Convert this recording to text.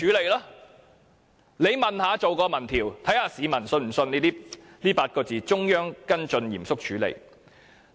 大家不妨進行一項民調，看看市民是否相信這8個字：中央跟進，嚴肅處理？